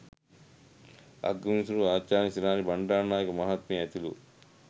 අගවිනිසුරු ආචාර්ය ශිරාණි බණ්‌ඩාරනායක මහත්මිය ඇතුළු